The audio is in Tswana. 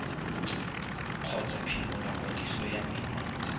kgotsa phimola kwadiso ya menontsha